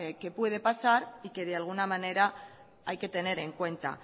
que puede pasar y que de alguna manera hay que tener en cuenta